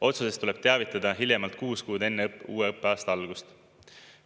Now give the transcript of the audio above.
Otsusest tuleb teavitada hiljemalt kuus kuud enne uue õppeaasta algust.